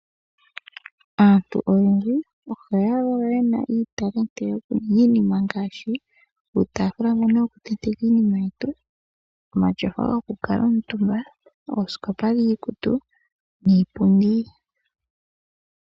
Aantu oyendji ohaya valwa ye na iitalenti yokuninga iinima ngaashi uutaafula mbono wokutenteka iinima yetu, omatyofa gokukala omutumba, oosikopa dhiikutu niipundi.